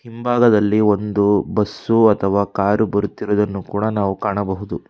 ಹಿಂಭಾಗದಲ್ಲಿ ಒಂದು ಬಸ್ಸು ಅಥವಾ ಕಾರು ಬರುತ್ತಿರುವುದನ್ನು ಕೂಡ ನಾವು ಕಾಣಬಹುದು.